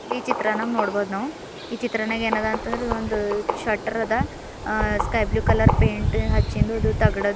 E ಚಿತ್ರನಾಗ್ ನೋಡಬೌದ್ ನಾವು ಇ ಚಿತ್ರನಾಗ್ ಏನದ ಅಂದ್ರೆ ಒಂದು ಶಟರ್ ಅದ ಆ ಸ್ಕೈ ಬ್ಲೂ ಕಲರ್ ಪೈಂಟ್ ಹಚ್ಚಿನದುದು ತಗಡ್ದು --